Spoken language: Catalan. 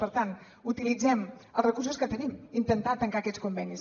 per tant utilitzem els recursos que tenim intentar tancar aquests convenis